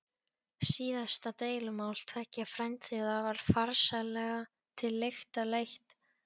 Síðasta deilumál tveggja frændþjóða var farsællega til lykta leitt.